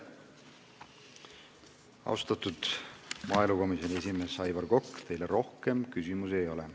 Austatud maaelukomisjoni esimees Aivar Kokk, teile rohkem küsimusi ei ole.